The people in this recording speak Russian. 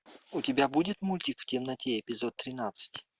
у тебя будет мультик в темноте эпизод тринадцать